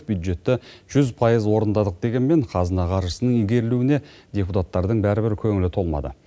бюджетті жүз пайыз орындадық дегенімен қазына қаржысының игерілуіне депутаттардың бәрібір көңілі толмады